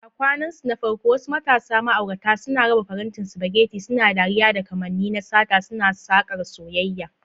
A kwanansu na farko, wasu matasa ma'aurata suna raba farantin spaghetti, suna dariya, da kamanni na sata, suna sakar soyayya.